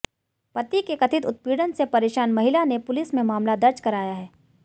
पति के कथित उत्पीड़न से परेशान महिला ने पुलिस में मामला दर्ज कराया है